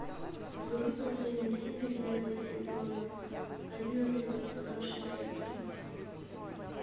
вруби последнюю серию девятого сезона одиннадцать двадцать два шестьдесят три